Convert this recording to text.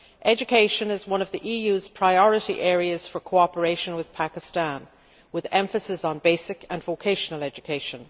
Education is one of the EU's priority areas for cooperation with Pakistan, with the emphasis on basic and vocational education.